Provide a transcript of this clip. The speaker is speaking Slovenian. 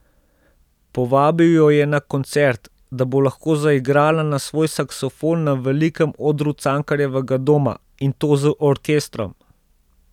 Povabil jo je na koncert, da bo lahko zaigrala na svoj saksofon na velikem odru Cankarjevega doma, in to z orkestrom.